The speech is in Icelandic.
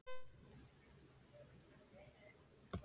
Reykjanesi við Djúp.